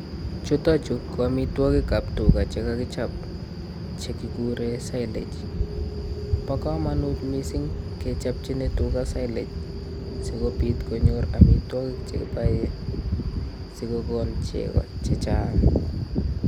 Chuton chu ko amitwogiik ab tugaa chekakichob chekikuren silage. Bo komonut missing kechobchii tugaa silage sikobiit konyoor amitwogiik chekiboen sikokoon chego chechang